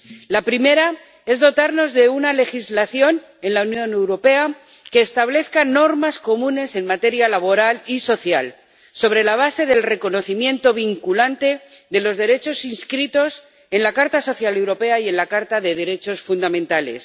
La primera es dotarnos de una legislación en la Unión Europea que establezca normas comunes en materia laboral y social, sobre la base del reconocimiento vinculante de los derechos inscritos en la Carta Social Europea y en la Carta de los Derechos Fundamentales.